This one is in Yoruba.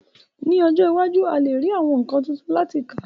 Ní ọjọ́ iwájú, a lè rí àwọn nǹkan tuntun láti kà